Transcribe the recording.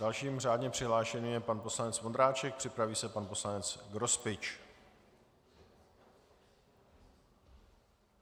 Dalším řádně přihlášeným je pan poslanec Vondráček, připraví se pan poslanec Grospič.